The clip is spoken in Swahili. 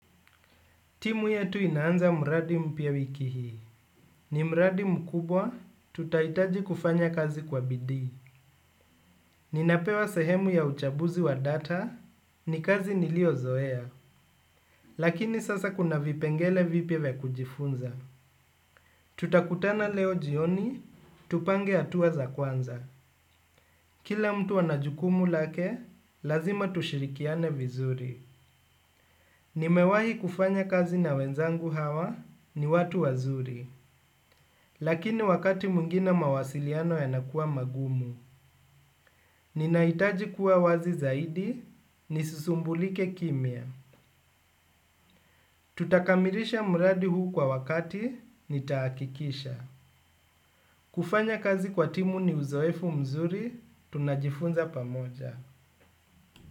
Timu yetu inaanza mradi mpya wiki hii. Ni mradi mkubwa, tutaitaji kufanya kazi kwa bidii. Ninapewa sehemu ya uchabuzi wa data, ni kazi niliozoea. Lakini sasa kuna vipengele vipya za kujifunza. Tutakutana leo jioni, tupange atuwa za kwanza. Kila mtu ana jukumu lake, lazima tushirikiane vizuri. Nimewahi kufanya kazi na wenzangu hawa, ni watu wazuri. Lakini wakati mungine mawasiliano yanakuwa magumu, ninaitaji kuwa wazi zaidi, nisusumbulike kimya. Tutakamirisha muradi huu kwa wakati, nitaakikisha. Kufanya kazi kwa timu ni uzoefu mzuri, tunajifunza pamoja.